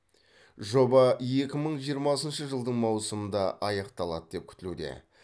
жоба екі мың жиырмасыншы жылдың маусымында аяқталады деп күтілуде